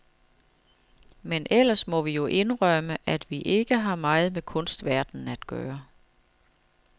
Men ellers må vi jo indrømme, at vi ikke har meget med kunstverdenen at gøre.